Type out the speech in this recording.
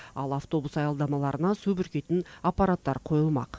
ал автобус аялдамаларына су бүркитін аппараттар қойылмақ